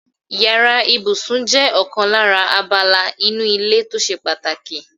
Yàrá ìbùsùn jé̩ ò̩kan lára abala inú ilé tó s̩e pàtàkì.